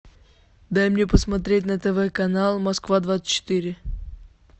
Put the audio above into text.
дай мне посмотреть на тв канал москва двадцать четыре